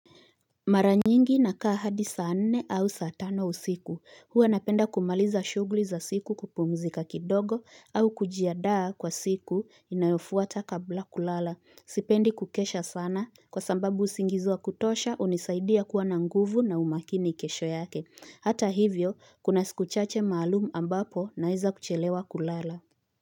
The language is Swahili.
Mara nyingi nakaa hadi saa nne au saa tano usiku huwa napenda kumaliza shughuli za siku kupumzika kidogo au kujiandaa kwa siku inayofuata kabla kulala sipendi kukesha sana kwa sababu usingizi wa kutosha hunisaidia kuwa na nguvu na umakini kesho yake hata hivyo kuna siku chache maalumu ambapo naeza kuchelewa kulala.